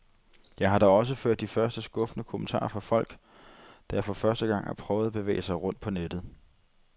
Jeg har da også hørt de første skuffede kommentarer fra folk, der for første gang har prøvet at bevæge sig rundt på nettet.